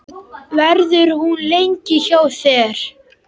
Verður hún lengi hjá þér?